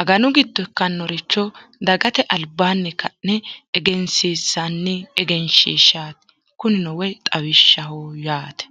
aganu giddo ikkannoricho dagate albaanni ka'ne egensiinsanni egenshiishshaati kunino woyi xawishshaho yaate